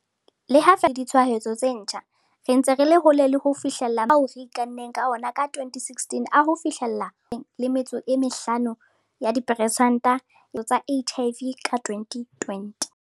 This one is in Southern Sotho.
Le ha feela re fokoditse mafu le ditshwaetso tse ntjha, re ntse re le hole le ho fihlella maikemisetso a rona ao re ikanneng ka ona ka 2016 a hofihlella 75 ya diperesente ya phokotso ya ditshwaetso tsa HIV ka 2020.